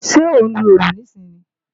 Ṣẹ́ ó ń lo òòlù níìsín ni?